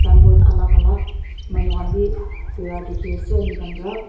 alak alak manu khan bi bira dikhiase amikhan pra.